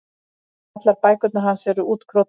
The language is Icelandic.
Allar bækurnar hans eru útkrotaðar.